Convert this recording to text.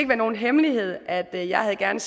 være nogen hemmelighed at jeg gerne